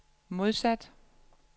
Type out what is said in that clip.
modsat